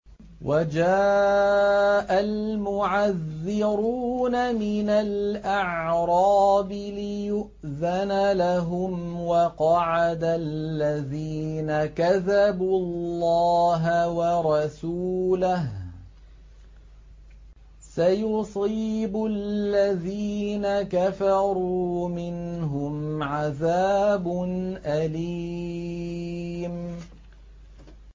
وَجَاءَ الْمُعَذِّرُونَ مِنَ الْأَعْرَابِ لِيُؤْذَنَ لَهُمْ وَقَعَدَ الَّذِينَ كَذَبُوا اللَّهَ وَرَسُولَهُ ۚ سَيُصِيبُ الَّذِينَ كَفَرُوا مِنْهُمْ عَذَابٌ أَلِيمٌ